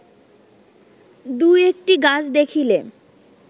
দু-একটি গাছ দেখিলে